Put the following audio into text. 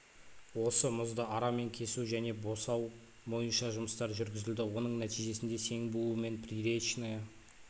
осы мұзды арамен кесу мен босау бойынша жұмыстар жүргізілді оның нәтижесінде сең буу мен приречное